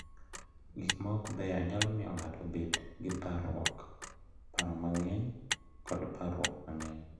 Gik ma ok beyo nyalo miyo ng’ato obed gi parruok, paro mang’eny, kod parruok mang’eny.